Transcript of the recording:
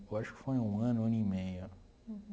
Eu acho que foi um ano, um ano e meio.